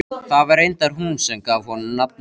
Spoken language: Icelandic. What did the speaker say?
Það var reyndar hún sem gaf honum nafnið.